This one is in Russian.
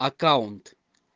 аккаунт